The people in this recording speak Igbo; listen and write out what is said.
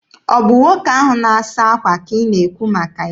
Ọ bụ nwoke ahụ na-asa akwa ka ị na-ekwu maka ya?